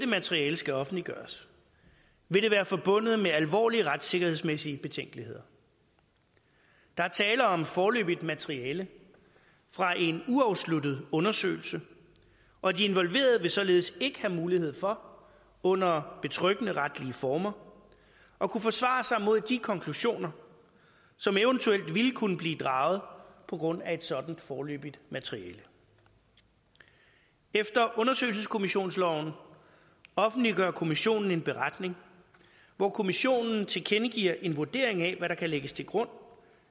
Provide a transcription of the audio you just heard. materiale skal offentliggøres vil det være forbundet med alvorlige retssikkerhedsmæssige betænkeligheder der er tale om et foreløbigt materiale fra en uafsluttet undersøgelse og de involverede vil således ikke have mulighed for under betryggende retslige former at kunne forsvare sig imod de konklusioner som eventuelt ville kunne blive draget på grund af et sådant foreløbigt materiale efter undersøgelseskommissionsloven offentliggør kommissionen en beretning hvor kommissionen tilkendegiver en vurdering af hvad der kan lægges til grund